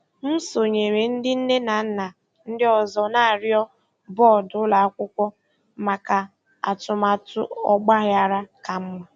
M sonyeere ndị nne na nna ndị ọzọ na-arịọ bọọdụ ụlọ akwụkwọ maka atụmatụ ọgbaghara ka mma.